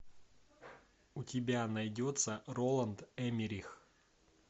у тебя найдется роланд эммерих